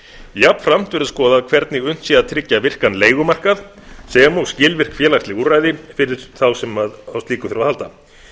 jafnframt verður skoðað hvernig unnt sé að tryggja virkan leigumarkað sem og skilvirk félagsleg úrræði fyrir þá sem á slíku þurfa að halda